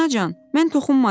Anacan, mən toxunmadım.